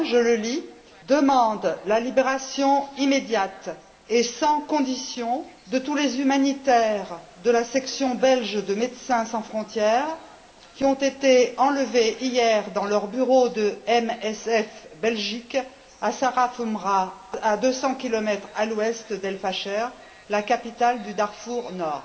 1. Je le lis demande la libération immédiate et sans condition de tous les humanitaires de la section belge de Médecins sans frontières qui ont été enlevés hier, dans leur bureau de MSF Belgique à Saraf Umra, à 200 km à l'ouest d'El Facher, la capitale du Darfour Nord.